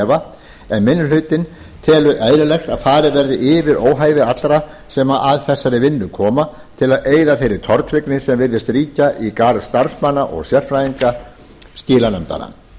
efa en minni hlutinn telur eðlilegt að farið verði yfir óhæði allra sem að þessari vinnu koma til að eyða þeirri tortryggni sem virðist ríkja í garð starfsmanna og sérfræðinga skilanefndanna